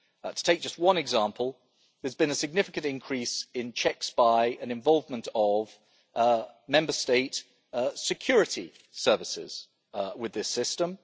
To take just one example, there has been a significant increase in checks by, and involvement of Member State security services with this system.